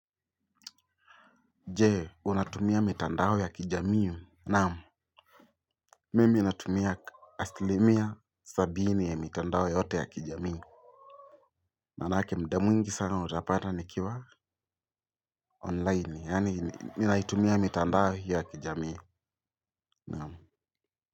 Je, unatumia mitandao ya kijamii. Naam, mimi natumia asilimia sabini ya mitandao yote ya kijamii. Maanake muda mwingi sana utapata nikiwa onlaini, yaani ninaitumia mitandao ya kijamii.